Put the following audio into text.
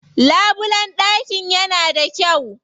Labulen ɗakin yana da kyau.